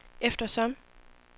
eftersom